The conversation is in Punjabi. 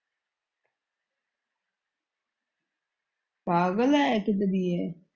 ਪਾਗਲ ਏ ਤੂੰ ਕੁੜੀਏ।